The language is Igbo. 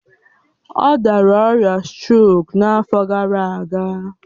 Ọ dara ọrịa strok n'afọ gara aga